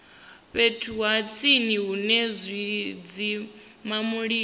fhethu ha tsini hune zwidzimamulilo